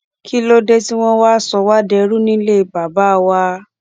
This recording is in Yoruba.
kí ló dé tí wọn wáá sọ wá dẹrú nílé bàbá wa